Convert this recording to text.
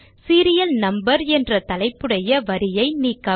serial number என்ற தலைப்புடைய வரியை நீக்கவும்